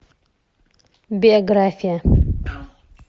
биография